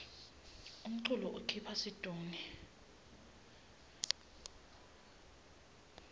umculo ukhipha situnge